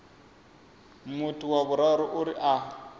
muthu wa vhuraru uri a